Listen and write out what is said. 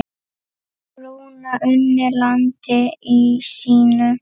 Rúna unni landi sínu.